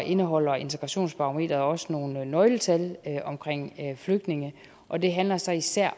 indeholder integrationsbarometeret også nogle nøgletal om flygtninge og det handler så især